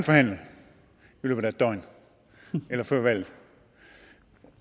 forhandle i løbet af et døgn eller før valget